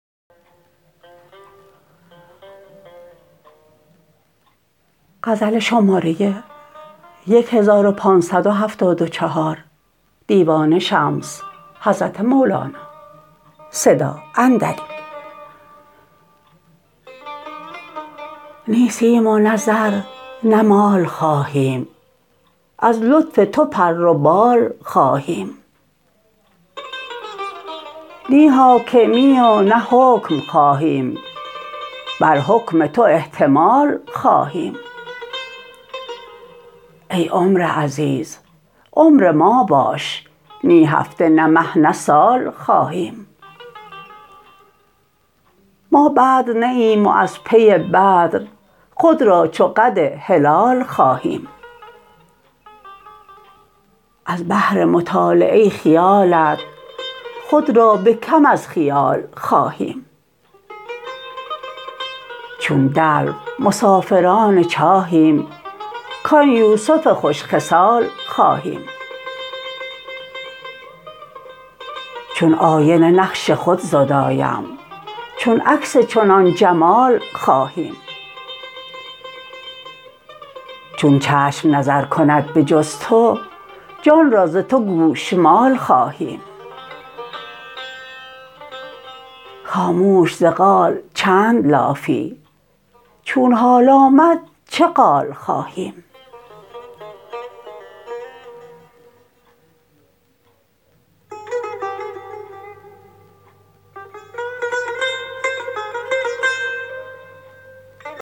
نی سیم و نه زر نه مال خواهیم از لطف تو پر و بال خواهیم نی حاکمی و نه حکم خواهیم بر حکم تو احتمال خواهیم ای عمر عزیز عمر ما باش نی هفته نه مه نه سال خواهیم ما بدر نی ایم و از پی بدر خود را چو قد هلال خواهیم از بهر مطالعه خیالت خود را به کم از خیال خواهیم چون دلو مسافران چاهیم کان یوسف خوش خصال خواهیم چون آینه نقش خود زدایم چون عکس چنان جمال خواهیم چون چشم نظر کند به جز تو جان را ز تو گوشمال خواهیم خاموش ز قال چند لافی چون حال آمد چه قال خواهیم